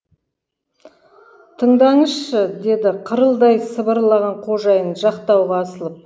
тыңдаңызшы деді қырылдай сыбырлаған қожайын жақтауға асылып